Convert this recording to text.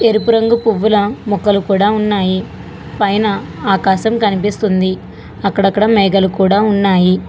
ఎరుపు రంగు పువ్వులా మొక్కలు కూడా ఉన్నాయి పైన ఆకాశం కనిపిస్తుంది అక్కడక్కడ మేఘాలు కూడా ఉన్నాయి.